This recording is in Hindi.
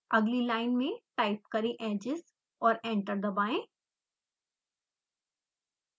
अगली लाइन में टाइप करें edges और एंटर दबाएं